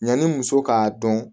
Yanni muso k'a dɔn